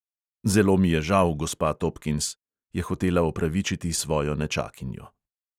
"Zelo mi je žal, gospa topkins," je hotela opravičiti svojo nečakinjo.